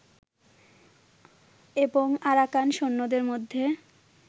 এবং আরাকান সৈন্যদের মধ্যে